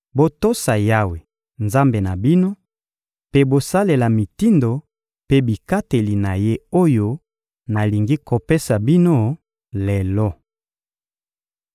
Botosa Yawe, Nzambe na bino, mpe bosalela mitindo mpe bikateli na Ye oyo nalingi kopesa bino lelo.»